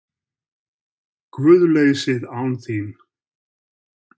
GUÐLEYSIÐ ÁN ÞÍN